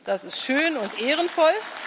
Das ist schön und ehrenvoll.